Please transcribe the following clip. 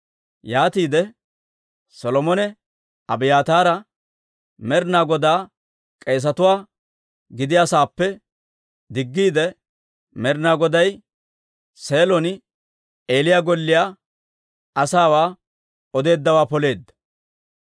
Yaatiide Solomone Abiyaataara Med'inaa Godaa k'eesatuwaa gidiyaa sa'aappe diggiide, Med'inaa Goday Seelon Eeliya golliyaa asaawaa odeeddawaa poleedda.